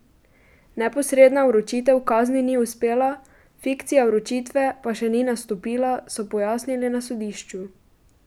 Neposredna vročitev kazni ni uspela, fikcija vročitve pa še ni nastopila, so pojasnili na sodišču.